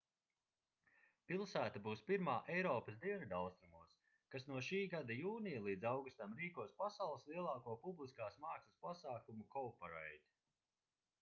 pilsēta būs pirmā eiropas dienvidaustrumos kas no šī gada jūnija līdz augustam rīkos pasaules lielāko publiskās mākslas pasākumu cowparade